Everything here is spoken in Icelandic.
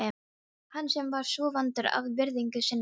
Hann sem var svo vandur að virðingu sinni.